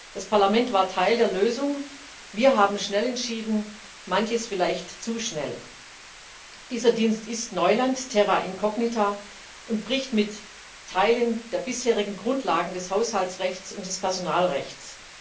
Das Parlament war Teil der Lösung. Wir haben schnell entschieden, manches vielleicht zu schnell. Dieser Dienst ist Neuland terra incognita und bricht mit Teilen der bisherigen Grundlagen des Haushaltsrechts und des Personalrechts.